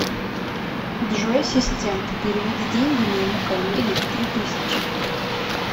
джой ассистент переведи деньги моему коллеге три тысячи